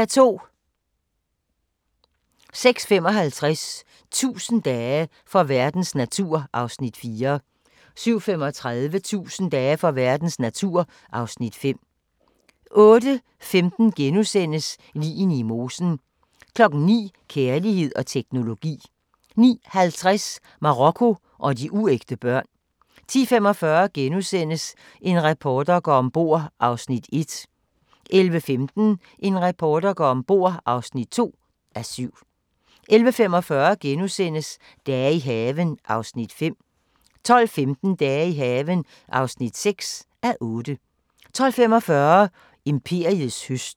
06:55: 1000 dage for verdens natur (Afs. 4) 07:35: 1000 dage for verdens natur (Afs. 5) 08:15: Ligene i mosen * 09:00: Kærlighed og teknologi 09:50: Marokko og de uægte børn 10:45: En reporter går om bord (1:7)* 11:15: En reporter går om bord (2:7) 11:45: Dage i haven (5:8)* 12:15: Dage i haven (6:8) 12:45: Imperiets høst